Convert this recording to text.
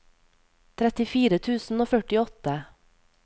trettifire tusen og førtiåtte